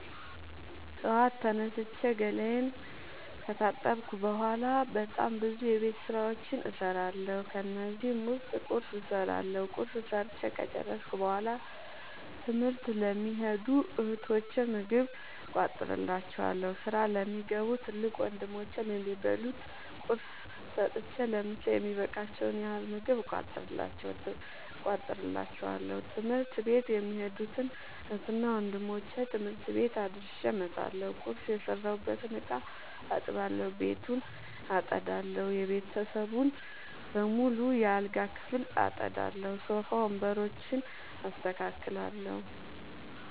ጠዋት ላይ ተነስቼ ገላየን ከታጠብኩ በሗላ በጣም ብዙ የቤት ዉስጥ ስራዎችን እሠራለሁ። ከነዚህም ዉስጥ ቁርስ እሠራለሁ። ቁርስ ሠርቸ ከጨረሥኩ በሗላ ትምህርት ለሚኸዱ እህቶቸ ምግብ እቋጥርላቸዋለሁ። ስራ ለሚገቡ ትልቅ ወንድሞቼም የሚበሉት ቁርስ ሰጥቸ ለምሣ የሚበቃቸዉን ያህል ምግብ እቋጥርላቸዋለሁ። ትምህርት ቤት የሚኸዱትን እህትና ወንድሞቼ ትምህርት ቤት አድርሼ እመጣለሁ። ቁርስ የሰራሁበትን እቃ አጥባለሁ። ቤቱን አጠዳለሁ። የቤተሰቡን በሙሉ የአልጋ ክፍል አጠዳለሁ። ሶፋ ወንበሮችን አስተካክላለሁ።